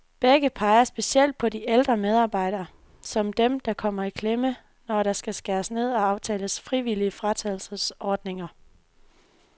Begge peger specielt på de ældre medarbejdere, som dem, der kommer i klemme, når der skal skæres ned og aftales frivillige fratrædelsesordninger.